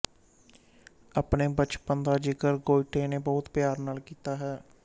ਆਪਣੇ ਬਚਪਨ ਦਾ ਜਿਕਰ ਗੋਇਟੇ ਨੇ ਬਹੁਤ ਪਿਆਰ ਨਾਲ ਕੀਤਾ ਹੈ